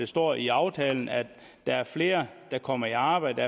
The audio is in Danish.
står i aftalen at der er flere der kommer i arbejde